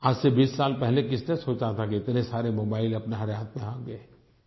आज से बीस साल पहले किसने सोचा था कि इतने सारे मोबाइल हमारे हर हाथ में होंगे